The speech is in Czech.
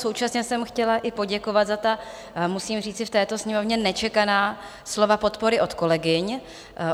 Současně jsem chtěla i poděkovat za ta - musím říci v této Sněmovně - nečekaná slova podpory od kolegyň.